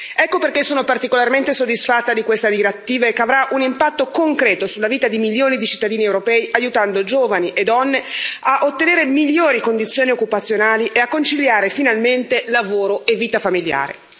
Ecco perché sono particolarmente soddisfatta di questa direttiva, che avrà un impatto concreto sulla vita di milioni di cittadini europei, aiutando giovani e donne a ottenere migliori condizioni occupazionali e a conciliare finalmente lavoro e vita familiare.